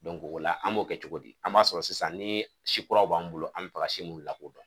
o la an b'o kɛ cogo di, an b'a sɔrɔ sisan ni si kuraw b'an bolo an mi fɛ ka si min lakodɔn